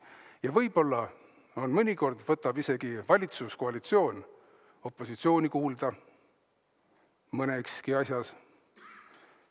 Ja võib-olla mõnikord võtab valitsuskoalitsioon opositsiooni isegi kuulda, vähemalt mõnes asjas.